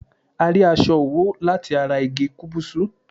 A rí aṣọ òwú lati ará igi kúbúsú